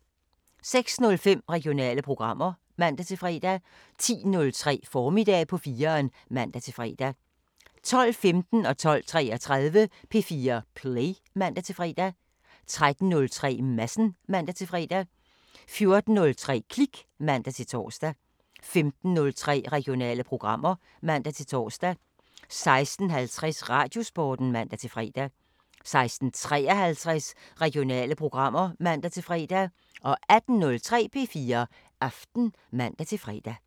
06:05: Regionale programmer (man-fre) 10:03: Formiddag på 4'eren (man-fre) 12:15: P4 Play (man-fre) 12:33: P4 Play (man-fre) 13:03: Madsen (man-fre) 14:03: Klik (man-tor) 15:03: Regionale programmer (man-tor) 16:50: Radiosporten (man-fre) 16:53: Regionale programmer (man-fre) 18:03: P4 Aften (man-fre)